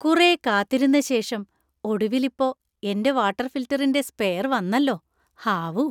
കുറെ കാത്തിരുന്ന ശേഷം ഒടുവിൽ ഇപ്പൊ എന്‍റെ വാട്ടർ ഫിൽട്ടറിന്‍റെ സ്പെയർ വന്നല്ലോ, ഹാവൂ.